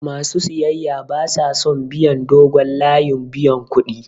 Ma su siyayya ba sa son biyan dogon layin buyan kuɗi.